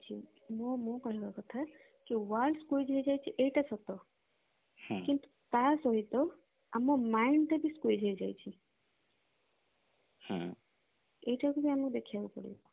ମୁଁ ମୋ କହିବ କଥା ଯେ world squiz ହେଇଯାଇଛି ଏଇଟା ସତ କିନ୍ତୁ ତା ସହିତ ଆମ mind ଟା ବି squiz ହେଇଯାଇଛି ଏଇଟା ବି ଆମକୁ ଦେଖିବାକୁ ପଡିବ